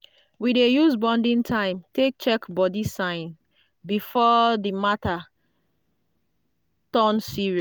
we dey use bonding time take check body sign before the matter turn serious.